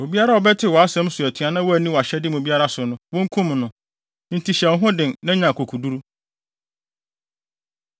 Obiara a ɔbɛtew wʼasɛm so atua na wanni wʼahyɛde mu biara so no, wonkum no. Enti, hyɛ wo ho den na nya akokoduru!”